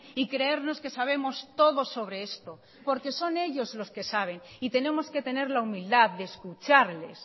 y creernos que sabemos todo sobre esto porque son ellos los que saben y tenemos que tenerla humildad de escucharles